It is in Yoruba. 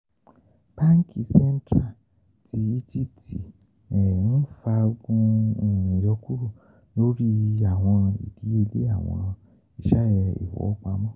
Banki Central ti Egipti n faagun iyọkuro lori awọn idiyele awọn iṣẹ ifowopamọ